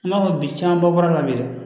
An b'a fɔ bi camanba bɔyɔrɔ la bi dɛ